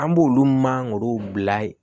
An b'olu mangorow bila yen